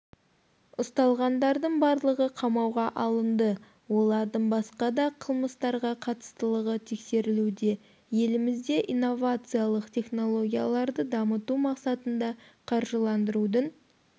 ұсталғандардың барлығы қамауға алынды олардың басқа да қылмыстарға қатыстылығы тексерілуде елімізде инновациялық технологияларды дамыту мақсатында қаржыландырудың